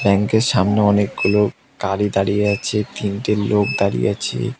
Bank -এর সামনে অনেকগুলো গাড়ি দাঁড়িয়ে আছে তিনটে লোক দাঁড়িয়ে আছে।